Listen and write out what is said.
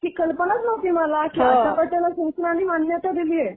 ही कल्पनाच नव्हती मला की आट्यापाट्याला शासनानी मान्यता दिलीये.